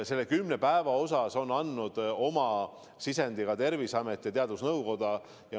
Selle kümne päeva suhtes on andnud oma sisendi ka Terviseamet ja teadusnõukoda.